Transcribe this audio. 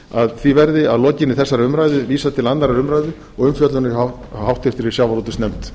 að því verði að lokinni þessari umræðu vísað til annarrar umræðu og umfjöllunar hjá háttvirtri sjávarútvegsnefnd